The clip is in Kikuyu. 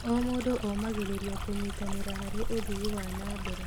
O mũndũ omagĩrĩrio kũnyitanĩra harĩ ũthii wa na mbere.